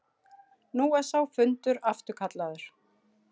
Nú er sá fundur afturkallaður.